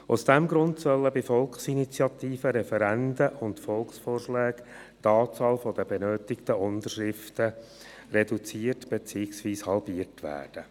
Aus diesem Grund soll bei Volksinitiativen, Referenden und Volksvorschlägen die Anzahl der benötigten Unterschriften reduziert beziehungsweise halbiert werden.